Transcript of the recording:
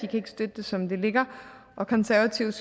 kan støtte det som det ligger og konservative